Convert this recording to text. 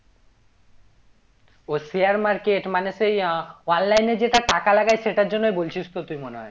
ও share market মানে সেই আহ online এ যেটা টাকা লাগায়ে সেটার জন্যই বলছিস তো তুই মনে হয়